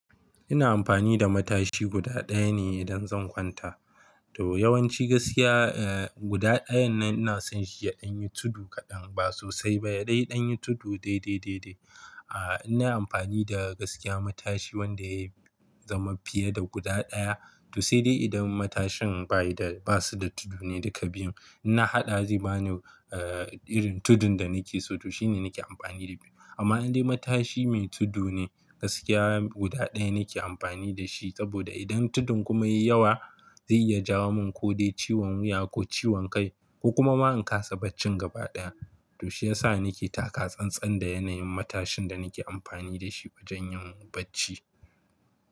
Ina amfani da matashi guda ɗaya ne idan zan kwanta. To yawanci gaskiya, eh guda ɗayan nan ina son shi ya ɗan yi tudu kaɗan ba sosai ba, yaɗai ɗan yi tudu dai-dai dai-dai. A innai amfani da gaskiya matashi wanda ya zama fiye da guda ɗaya. To sai dai idan matashin ba yi da ba su da tudu ne duka biyun. In na haɗa zai bani eh irin tudun da nake so to shine nake amfani da biyu. Amma indai matashi mai tudu ne, gaskiya guda ɗaya nake amfani da shi saboda idan tudun kuma ya yi yawa, zai iya jawo mun ko dai ciwon wuya ko ciwon kai ko kuma ma in kasa barcin gaba ɗaya. To shiyasa nake taka tsan-tsan da yanayin matashin da nake amfani da shi wajan yin bacci.